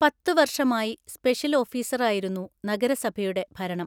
പത്തുവർഷമായി special ഓഫീസറായിരുന്നു നഗരസഭയുടെ ഭരണം.